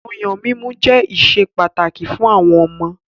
Ọyàn mímu jẹ́ ìṣe pàtàkì fún àwọn ọmọ ọwọ́.